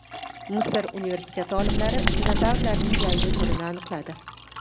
Misr universiteti olimlari dinozavrlarning yangi turini aniqladi.